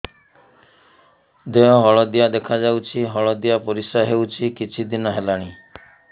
ଦେହ ହଳଦିଆ ଦେଖାଯାଉଛି ହଳଦିଆ ପରିଶ୍ରା ହେଉଛି କିଛିଦିନ ହେଲାଣି